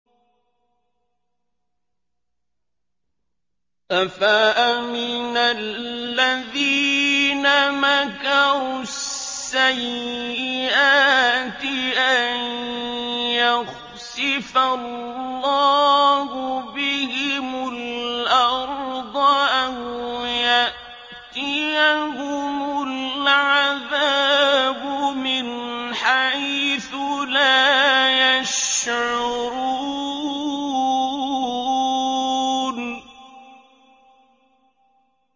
أَفَأَمِنَ الَّذِينَ مَكَرُوا السَّيِّئَاتِ أَن يَخْسِفَ اللَّهُ بِهِمُ الْأَرْضَ أَوْ يَأْتِيَهُمُ الْعَذَابُ مِنْ حَيْثُ لَا يَشْعُرُونَ